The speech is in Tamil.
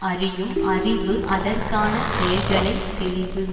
அறியும் அறிவு அதற்கான செயல்களை தெளிவு